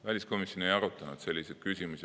Väliskomisjon ei arutanud selliseid küsimusi.